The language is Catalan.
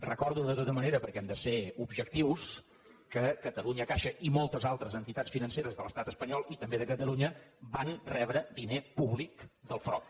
recordo de tota manera perquè hem de ser objectius que catalunya caixa i moltes altres entitats financeres de l’estat espanyol i també de catalunya van rebre diner públic del frob